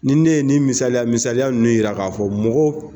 Ni ne ye nin misaliya misaliya nunnu yira k'a fɔ mɔgɔ